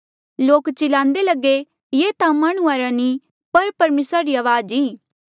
लोक चिलांदे लगे ये ता माह्णुं रा नी पर परमेसरा री अवाज ई